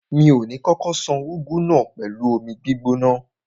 Mi ò ní kókó ṣan úgú náà pẹ̀lú omi gbígbóná.